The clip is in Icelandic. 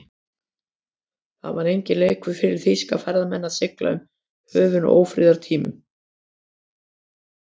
Það var enginn leikur fyrir þýska farmenn að sigla um höfin á ófriðartímum.